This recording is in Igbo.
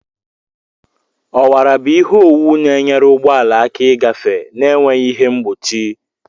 Ọwara bụ ihe owuwu na-enyere ụgbọ ala aka ịgafe na-enweghị ihe mgbochi.